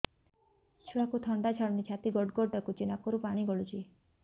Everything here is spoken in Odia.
ଛୁଆକୁ ଥଣ୍ଡା ଛାଡୁନି ଛାତି ଗଡ୍ ଗଡ୍ ଡାକୁଚି ନାକରୁ ପାଣି ଗଳୁଚି